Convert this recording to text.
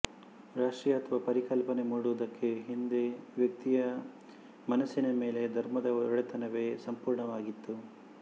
ರಾಷ್ತ್ರೀಯತ್ವ ಪರಿಕಲ್ಪನೆ ಮೂಡುವುದಕ್ಕೆ ಹಿಂದೆ ವ್ಯಕ್ತಿಯ ಮನಸ್ಸಿನ ಮೇಲೆ ಧರ್ಮದ ಒಡೆತನವೇ ಸಂಪೂರ್ಣವಾಗಿತ್ತು